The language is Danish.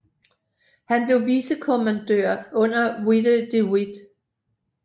Han blev vicekommandør under Witte de With